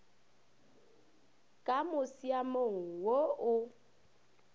ka mo musiamong wo o